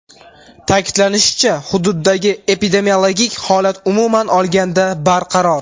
Ta’kidlanishicha, hududdagi epidemiologik holat umuman olganda barqaror.